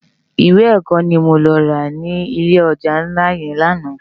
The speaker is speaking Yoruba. Iwé èkò ni mó lò rá ni ilé òjá nlá yèn làná